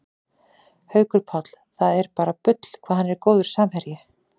Haukur Páll, það er bara bull hvað hann er góður samherji